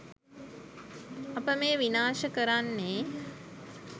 අප මේ විනාශ කරන්නේ